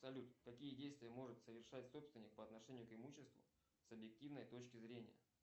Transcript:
салют какие действия может совершать собственник по отношению к имуществу с объективной точки зрения